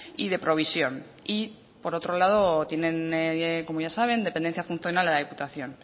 y de provisión y por otro lado tienen como ya saben dependencia funcional de la diputación